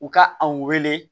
U ka an wele